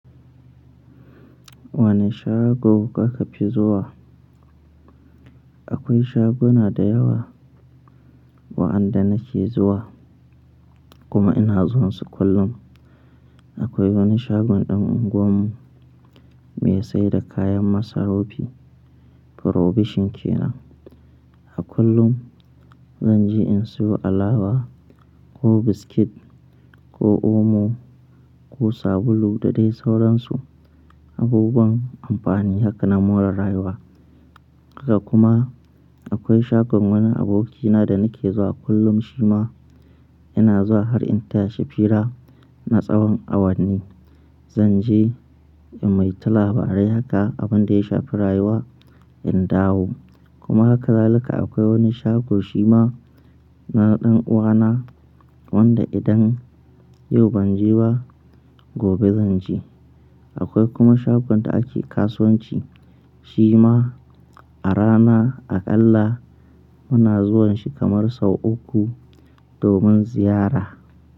Wane shago kuka fi zuwa? Akwai shaguna da yawa waɗanda nake zuwa kuma ina zuwansu kullum. Akwai wani shagon ɗan unguwarmu me saida kayan masarufi probition kenan. A kullum zanje in siyo alawa ko biskit ko omo ko sabulu da dai sauran su abubuwan amfani haka na more rayuwa. Haka kuma akwai shagon wani abokina da nake zuwa kullum shima ina zuwa har in tashi fira na tsawan awanni. Zanje in maita labarai haka abin da ya shafi rayuwa in dawo. Kuma haka zaluka akwai wani shago shima na ɗan uwana wanda idan yau ban je ba gobe zanje. Akwai kuma shagon da ake kasuwanci shima a rana aƙalla muna zuwanshi kamar sau uku domin ziyara.